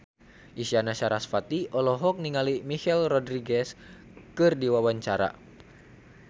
Isyana Sarasvati olohok ningali Michelle Rodriguez keur diwawancara